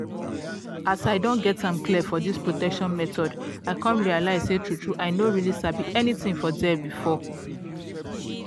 as i don get am clear for this protection methods i come realize say true true i no really sabi anything for there before.